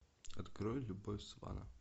открой любовь свана